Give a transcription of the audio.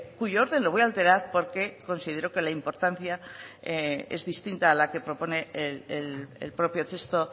cuyo orden lo voy a alterar porque considero que la importancia es distinta a la que propone el propio texto